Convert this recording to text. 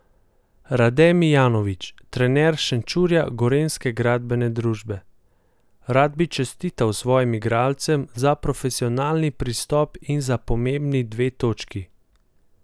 Rade Mijanović, trener Šenčurja Gorenjske gradbene družbe: "Rad bi čestital svojim igralcem za profesionalni pristop in za pomembni dve točki.